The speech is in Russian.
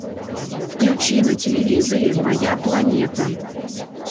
включи на телевизоре моя планета